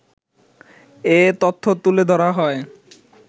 এ তথ্য তুলে ধরা হয়